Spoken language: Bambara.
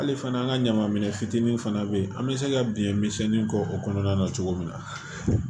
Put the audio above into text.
Hali fana an ka ɲaman minɛn fitinin fana bɛ yen an bɛ se ka biɲɛ misɛnnin kɔ o kɔnɔna na cogo min na